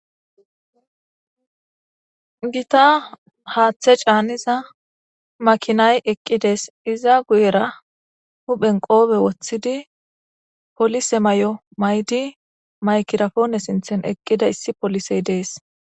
gita haaththe caaniza makinay eqqides iza guyera huphen qoobe woththidi polise may7o maydi maykirafoone sinthen eqqida issi polisey dees